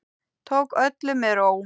Tók öllu með ró